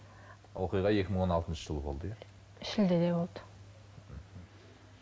оқиға екі мың он алтыншы жылы болды иә шілдеде болды